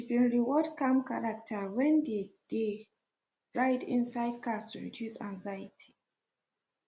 she been reward calm character when they dey ride inside car to reduce anxiety